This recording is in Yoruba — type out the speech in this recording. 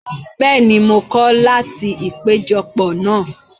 Bẹ́ẹ̀ni, mo kọ́ láti ìpéjọ pọ̀ náà.